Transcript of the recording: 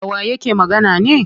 Dawa yake magana ne?